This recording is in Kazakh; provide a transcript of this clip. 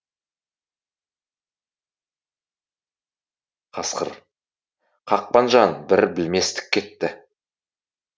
қасқыр қақпанжан бір білместік кетті